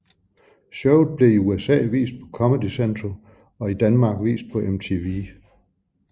Showet blev i USA vist på Comedy Central og i Danmark vist på MTV